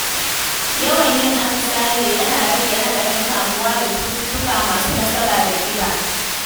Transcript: Yawan yin atisaye yana rage haɗarin kamuwa da cututtuka masu nasaba da kiba.